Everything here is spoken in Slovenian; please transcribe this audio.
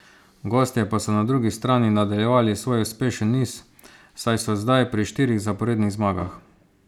Gostje pa so na drugi strani nadaljevali svoj uspešen niz, saj so zdaj pri štirih zaporednih zmagah.